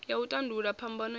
ya u tandulula phambano i